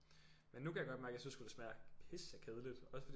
Men nu kan jeg godt mærke jeg synes sgu det smager pissekedeligt også fordi